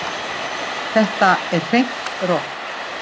Þetta er hreint rokk